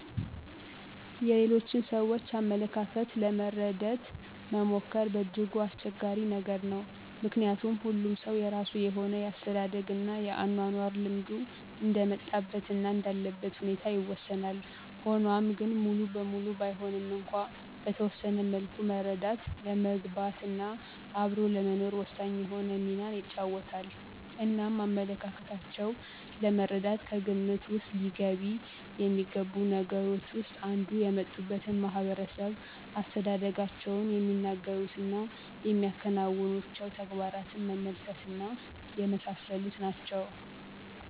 የሌሎችን ሰዎች አመለካከት ለመረደት መሞከር በእጅጉ አስቸጋሪ ነገር ነው። ምከንያቱም ሁሉም ሰው የራሱ የሆነ የአስተዳደግ እና የአኗኗር ልምዱ እንደ መጣበት እና እንዳለበት ሁኔታ ይወሰናል፤ ሆኗም ግን ሙሉበሙሉ ባይሆንም እንኳን በተወሰነ መልኩ መረዳት ለመግባት እና አብሮ ለመኖር ወሳኝ የሆነ ሚናን ይጫወታል። እናም አመለካከታቸው ለመረዳት ከግምት ዉስጥ ሊገቢ የሚገቡት ነገሮች ዉስጥ አንዱ የመጡበትን ማህበረሰብ፣ አስተዳደጋቸውን፣ የሚናገሩት እና የሚያከናውኑቸዉ ተግባራት መመልከት እና የመሳሰሉት ናቸው።